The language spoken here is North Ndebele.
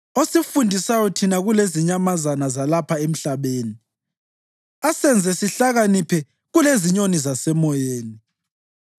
osifundisayo thina kulezinyamazana zalapha emhlabeni asenze sihlakaniphe kulezinyoni zasemoyeni?’